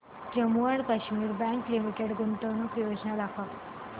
Jammu and Kashmir bank limited गुंतवणूक योजना दाखव